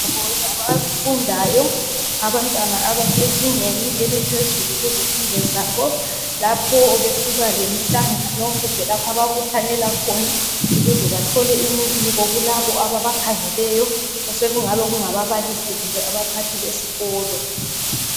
Indawo yabafundayo abantwana abasezingeni eliphezulu kuzifundo zabo lapho besiba lemihlangano kumbe lapho ababuthanela khona ukuze bathole imibiko kulabo ababakhangeleyo osekungaba ngababalisi kumbe abaphathi besikolo